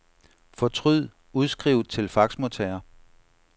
Fortryd udskriv til faxmodtager.